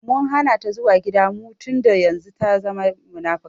Mun Hana ta zuwa gidan mu tunda yanzun ta zama munafuka.